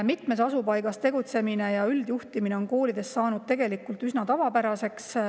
Mitmes asupaigas tegutsemine ja üldjuhtimine on koolides saanud tegelikult üsna tavapäraseks.